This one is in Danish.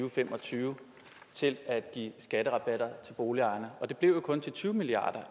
og fem og tyve til at give skatterabatter til boligejerne og det blev jo kun til tyve milliard